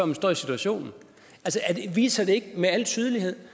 man står i situationen viser det ikke med al tydelighed